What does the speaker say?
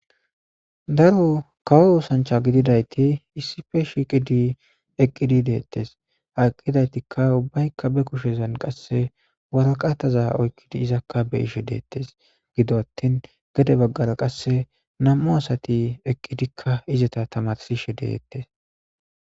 Daro kawo oththanichcha gididayitti issippe shiqidi eqidi detes.haa eqidayitikka ubayikka be kushshen qase waraqatazza oyikkidi izakka be'ishshe detess .gido atinn gede bagara qase nam'cu asati eqidikka izeta tamarisishshe detes.